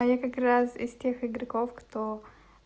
а я как раз из тех игроков кто